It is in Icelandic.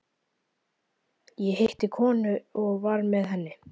Ég hitti konu og var með henni.